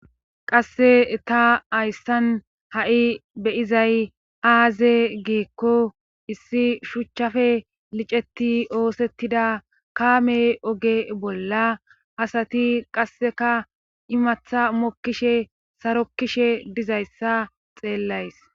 qasse ta hayssan ha7i beyizay aaze giikko issi shuchchafe liceti oosettida kaame oge bolla asati qasseka imatha mokkishe sarokkishe dizayssa xeellays